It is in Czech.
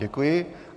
Děkuji.